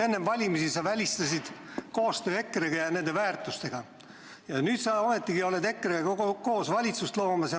Enne valimisi sa välistasid koostöö EKRE-ga, nüüd ometigi oled EKRE-ga koos valitsust loomas.